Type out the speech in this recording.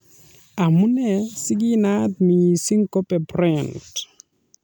Amunee si kinaat miising Kobe Bryant?